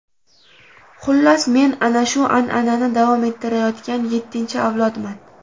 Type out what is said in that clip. Xullas, men ana shu an’anani davom ettirayotgan yettinchi avlodman .